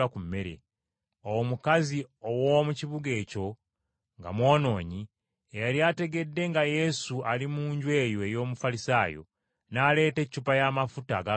Awo omukazi ow’omu kibuga ekyo nga mwonoonyi, eyali ategedde nga Yesu ali mu nju eyo ey’Omufalisaayo, n’aleeta eccupa y’amafuta ag’akaloosa.